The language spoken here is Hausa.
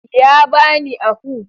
Ya bani ahu.